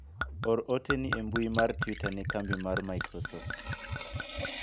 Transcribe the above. or ote ni e mbui mar twita ne kambi mar microsoft